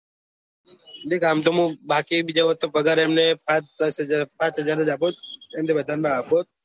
દેખ આમ તો બાકી બીજા વસ્તુ પગાર અમને પાંચ દસ હાજર પાંચ હાજર જ આપું એના થી વધાર ના આપું